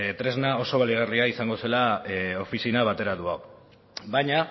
tresna oso baliagarria izango zela ofizina bateratu hau baina